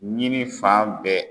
Ɲini fan bɛɛ.